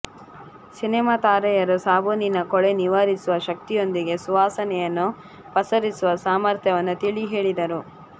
cinema ತಾರೆಯರು ಸಾಬೂನಿನ ಕೊಳೆ ನಿವಾರಿಸುವ ಶಕ್ತಿಯೊಂದಿಗೆ ಸುವಾಸನೆಯನ್ನು ಪಸರಿಸುವ ಸಾಮರ್ಥ್ಯವನ್ನು ತಿಳಿ ಹೇಳಿದರು